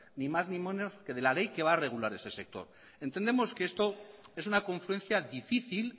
ni más ni menos que de la ley que va a regular ese sector entendemos que esto es una confluencia difícil